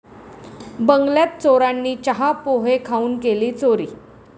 बंगल्यात चोरांनी चहा, पोहे खाऊन केली चोरी